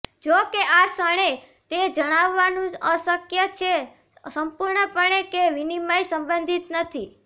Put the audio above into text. જોકે આ ક્ષણે તે જણાવવાનું અશક્ય છે સંપૂર્ણપણે કે વિનિમય સંબંધિત નથી